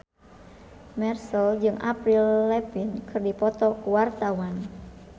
Marchell jeung Avril Lavigne keur dipoto ku wartawan